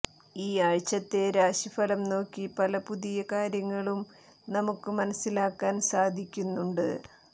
ഈ ആഴ്ചത്തെ രാശിഫലം നോക്കി പല പുതിയ കാര്യങ്ങളും നമുക്ക് മനസ്സിലാക്കാൻ സാധിക്കുന്നുണ്ട്